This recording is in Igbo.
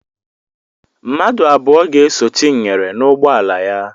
Mmadụ abụọ ga-eso Chinyere n'ụgbọala ya.